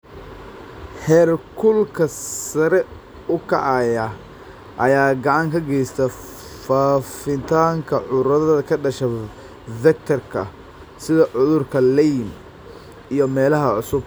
Heerkulka sare u kaca ayaa gacan ka geysta faafitaanka cudurada ka dhasha vector-ka, sida cudurka Lyme, ee meelaha cusub.